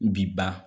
Bi ban